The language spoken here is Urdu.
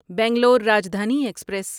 بنگلور راجدھانی ایکسپریس